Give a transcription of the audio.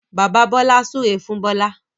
Bàbà Bola súré fún Bola